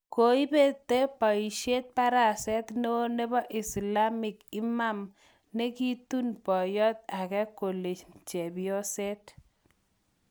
Koipete poishet paraset neo nepo islamiek imam nekiitun poyot age kolen chepyoset